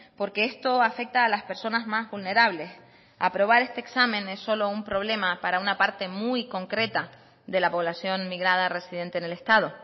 porque esto afecta a las personas más vulnerables aprobar este examen es solo un problema para una parte muy concreta de la población migrada residente en el estado